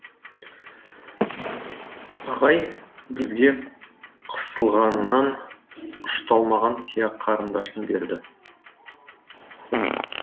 ағай бізге қысылғанынан ұшталмаған сия қарындашын берді